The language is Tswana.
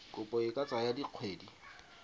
kopo e ka tsaya dikgwedi